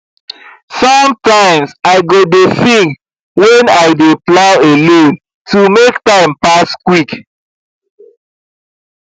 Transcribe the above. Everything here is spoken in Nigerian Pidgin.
sometimes i go dey sing when i dey plow alone to make time pass quick